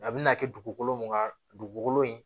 A bɛna kɛ dugukolo mun kan dugukolo in